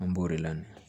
An b'o de la